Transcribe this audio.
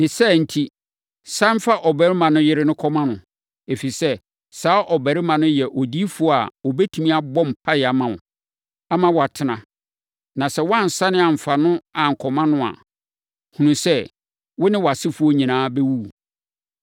Ne saa enti sane fa ɔbarima no yere no kɔma no, ɛfiri sɛ, saa ɔbarima no yɛ odiyifoɔ a ɔbɛtumi abɔ mpaeɛ ama wo, ama woatena. Na sɛ woansane amfa no ankɔma no a, hunu sɛ, wo ne wʼasefoɔ nyinaa bɛwuwu.”